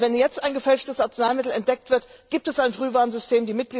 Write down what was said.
gab! Wenn jetzt ein gefälschtes Arzneimittel entdeckt wird, gibt es ein Frühwarnsystem.